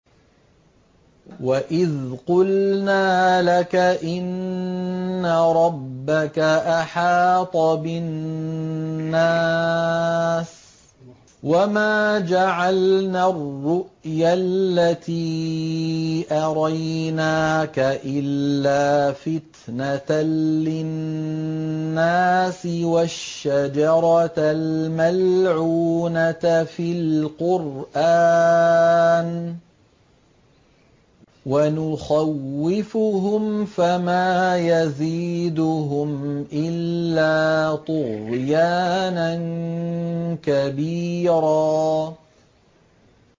وَإِذْ قُلْنَا لَكَ إِنَّ رَبَّكَ أَحَاطَ بِالنَّاسِ ۚ وَمَا جَعَلْنَا الرُّؤْيَا الَّتِي أَرَيْنَاكَ إِلَّا فِتْنَةً لِّلنَّاسِ وَالشَّجَرَةَ الْمَلْعُونَةَ فِي الْقُرْآنِ ۚ وَنُخَوِّفُهُمْ فَمَا يَزِيدُهُمْ إِلَّا طُغْيَانًا كَبِيرًا